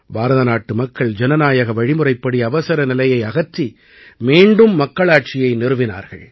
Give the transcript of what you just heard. பாரத நாட்டு மக்கள் ஜனநாயக வழிமுறைப்படி அவசரநிலையை அகற்றி மீண்டும் மக்களாட்சியை நிறுவினார்கள்